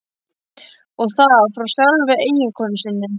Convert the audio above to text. Og það frá sjálfri eiginkonu sinni.